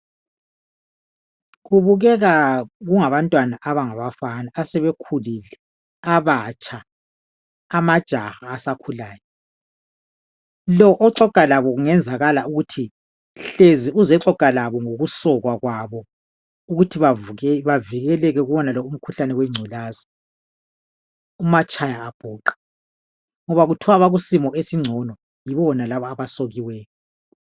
Kubukeka kungabantwana abangabafana asebekhukile abatsha amajaha asakhulayo . Lo oxoxa labo kungenzakala ukuthi hlezi uzoxoxa labo ngokusokwa kwabo. Ukuthi bavikeleke kuwonalo umkhuhlane wengculaza umatshayabhuqe . Ngoba kuthiwa abakusimo esingcono yibona laba abasokileyo .